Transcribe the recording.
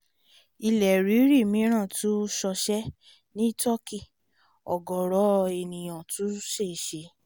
ilé ríri mìíràn tún ṣọṣẹ́ ní turkey ọ̀gọ̀ọ̀rọ̀ èèyàn tún ṣèṣe